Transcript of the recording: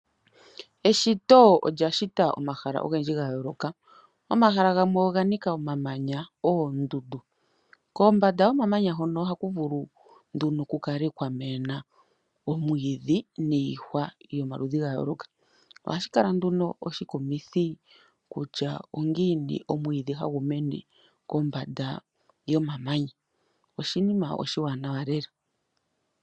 Eshito olya shita omahala ogendji ga yooloka. Omahala gamwe oga nika omamamnya, oondundu. Kombanda yomamanya hoka ohaku vulu nduno ku kale kwa mena omwiidhi niihwa yomaludhi ga yooloka. Ohashi kala nduno oshikumithi kutya ongiini omwiidhi hagu mene kombanda yomamamnya. Oshinima oshiwanawa lela.